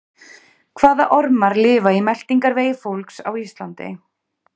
Hvaða ormar lifa í meltingarvegi fólks á Íslandi?